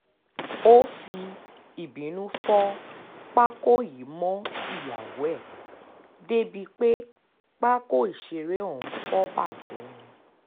ó fi ìbínú fọ pákó yìí mọ́ ìyàwó ẹ̀ débìí pé pákó ìṣeré ọ̀hún fọ́ bàjẹ́ ni